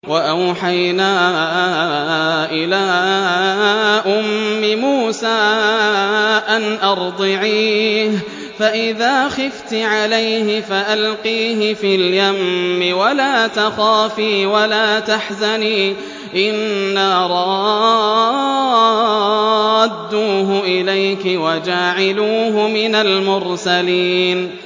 وَأَوْحَيْنَا إِلَىٰ أُمِّ مُوسَىٰ أَنْ أَرْضِعِيهِ ۖ فَإِذَا خِفْتِ عَلَيْهِ فَأَلْقِيهِ فِي الْيَمِّ وَلَا تَخَافِي وَلَا تَحْزَنِي ۖ إِنَّا رَادُّوهُ إِلَيْكِ وَجَاعِلُوهُ مِنَ الْمُرْسَلِينَ